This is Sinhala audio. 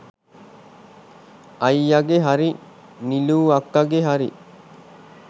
අයියගෙ හරි නිලු අක්කගෙ හරි